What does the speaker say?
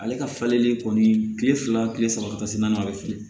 Ale ka falenni kɔni kile fila kile saba tasi naan bɛ feere